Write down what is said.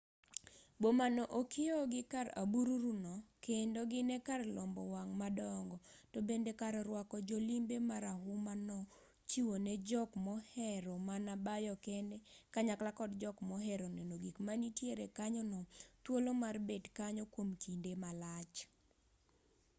boma no okieo gi kar abururu no kendo gin e kar lombo wang' madongo to bende kar rwako jolimbe marahuma no chiwo ne jok mohero mana bayo kende kanyakla kod jok mohero neno gik manitie kanyono thuolo mar bet kanyo kwom kinde malach